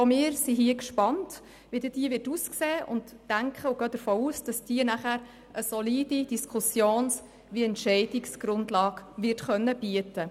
Auch wir sind gespannt, wie diese aussehen wird und gehen davon aus, dass sie nachher eine solide Entscheidungsgrundlage bieten wird.